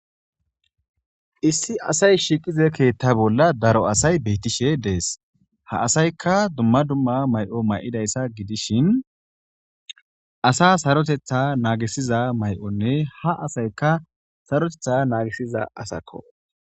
Issi asay shiqiza ketha bola daro asay betishe de'es ha asayka duma duma ma'o ma'idaysa gidishin asa saroteta nagisiza may'onne ha asayka saroteta nagisiza asako.